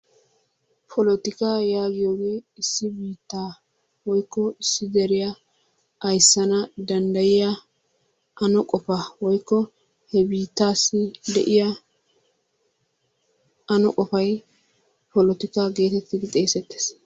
Poltikka yaagiyooge issi biittaa woykko issi deriyaa ayssana danddayiyaa ano qofaa woykko he biittassi de'iyaa ano qofay polotikka getettidi xeesettees